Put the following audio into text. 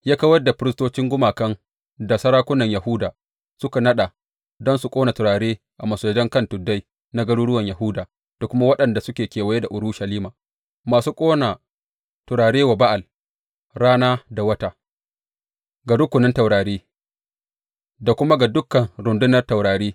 Ya kawar da firistocin gumakan da sarakunan Yahuda suka naɗa don su ƙona turare a masujadan kan tuddai na garuruwan Yahuda, da kuma waɗanda suke kewaye da Urushalima, masu ƙona turare wa Ba’al, rana da wata, ga rukunin taurari, da kuma ga dukan rundunan taurari.